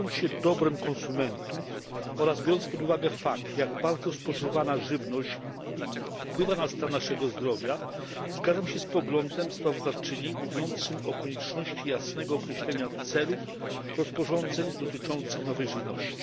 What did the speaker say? Kierując się dobrem konsumentów oraz biorąc pod uwagę fakt, jak bardzo spożywana żywność wpływa na stan naszego zdrowia, zgadzam się z poglądem sprawozdawczyni mówiącym o konieczności jasnego określenia celów rozporządzeń dotyczących nowej żywności.